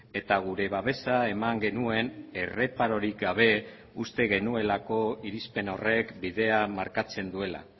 eta gure babesa eman genuen erreparorik gabe uste genuelako irizpen horrek bidea markatzen duela